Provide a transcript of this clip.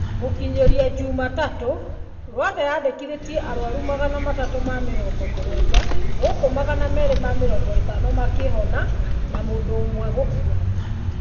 Gũkinyĩria jumatatũ, Rwanda yandĩkithĩtie arwaru magana matatũ na mĩrongo mũgwanja gũkũ magana merĩ na mĩrongo ĩtano na atandatũ makĩhona na mũndũ ũmwe gũkua